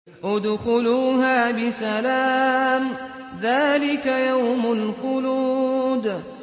ادْخُلُوهَا بِسَلَامٍ ۖ ذَٰلِكَ يَوْمُ الْخُلُودِ